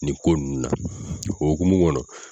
Nin ko ninnu na o hokumu kɔnɔ